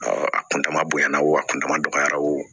a kuntaa bonyana o a kuntama dɔgɔyara wo